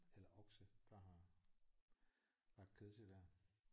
Eller okse der har lagt kød til der